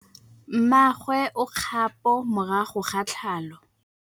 Mmagwe o kgapô morago ga tlhalô.